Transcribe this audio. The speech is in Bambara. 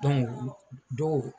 dɔw.